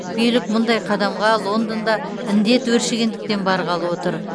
билік мұндай қадамға лондонда індет өршігендіктен барғалы отыр